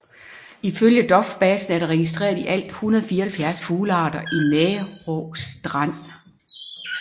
Ifølge dofbasen er der registreret i alt 174 fuglearter i Nærå Strand